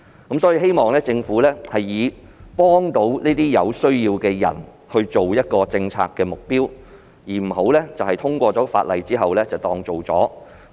我希望政府以幫助有需要人士作為政策目標，不要只通過《條例草案》便當作做了事。